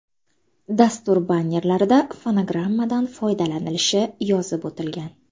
Dastur bannerlarida fonogrammadan foydalanilishi yozib o‘tilgan.